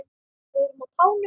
Við erum á tánum.